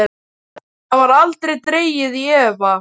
Það var aldrei dregið í efa.